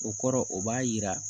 O kɔrɔ o b'a yira